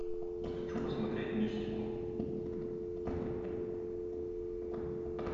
хочу посмотреть мистику